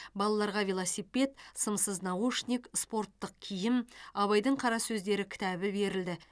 балаларға велосипед сымсыз наушник спорттық киім абайдың қара сөздері кітабы берілді